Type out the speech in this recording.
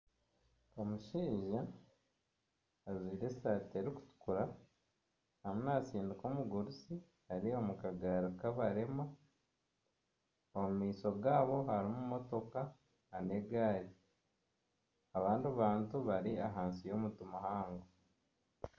Omushaija ajwire esaati erikutukura ariyo naatsindika omugurusi ari omu kagari kabarema, omu maisho gaabo harimu emotoka nana egari abandi bantu bari ahansi y'omuti muhango